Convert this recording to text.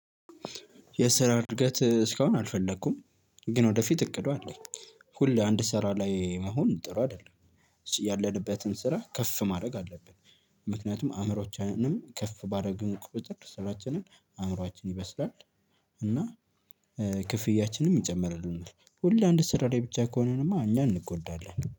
የስራ እድገት እስካሁን አልፈለኩም፤ ግን ወደፊት እቅዱ አለኝ። ሁሌ እንድ ስራ ላይ መሆን ጥሩ አይደለም ያለንበትን ስራ ከፍ ማድረግ አለብን። ምክንያቱም አእምሮአችንንም ከፍ ባደርግ ቁጥር ስራችንን አእምሮአችን ይበስላል፤ እና ክፍያችንም ይጨምርልናል። ሁሌ እንድ ስራላይ ብቻ ከሆንንማ እኛ እንጎዳለን።